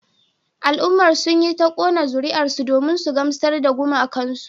Al'ummar sun yi ta kona zuriyarsu domin su gamsar da gumakansu